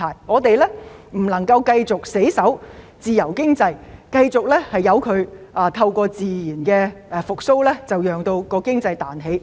我們不能死守自由經濟，繼續透過自然復蘇，讓經濟彈起。